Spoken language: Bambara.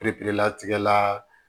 latigɛ la